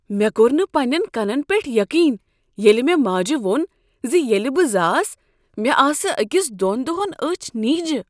مےٚ کوٚر نہ پننین کنن پیٹھ یقین ییٚلہ مےٚ ماجہ ووٚن ز ییٚلہ بہٕ زاس، مےٚ آسہٕ أکس دۄن دۄہن أچھ نیجہ۔